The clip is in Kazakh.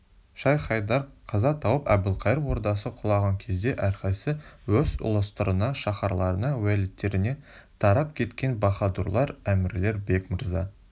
шайх-хайдар қаза тауып әбілқайыр ордасы құлаған кезде әрқайсы өз ұлыстарына шаһарларына уәлиеттеріне тарап кеткен баһадурлар әмірлер бек мырза